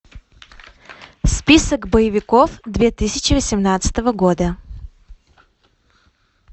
список боевиков две тысячи восемнадцатого года